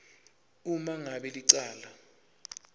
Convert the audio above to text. uma ngabe licala